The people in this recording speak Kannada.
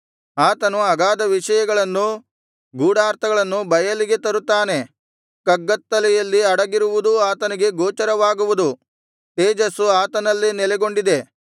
ಆತನು ಅಗಾಧ ವಿಷಯಗಳನ್ನೂ ಗೂಢಾರ್ಥಗಳನ್ನೂ ಬಯಲಿಗೆ ತರುತ್ತಾನೆ ಕಗ್ಗತ್ತಲೆಯಲ್ಲಿ ಅಡಗಿರುವುದೂ ಆತನಿಗೆ ಗೋಚರವಾಗುವುದು ತೇಜಸ್ಸು ಆತನಲ್ಲೇ ನೆಲೆಗೊಂಡಿದೆ